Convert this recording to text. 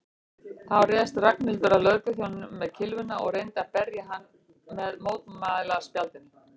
Þá réðst Ragnhildur að lögregluþjóninum með kylfuna og reyndi að berja hann með mótmælaspjaldinu.